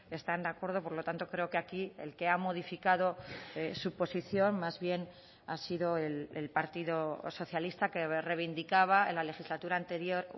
están de acuerdo por lo tanto creo que aquí el que ha modificado su posición más bien ha sido el partido socialista que reivindicaba en la legislatura anterior